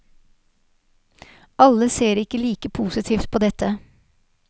Alle ser ikke like positivt på dette.